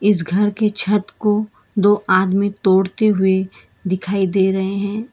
इस घर के छत को दो आदमी तोड़ते हुए दिखाई दे रहे हैं।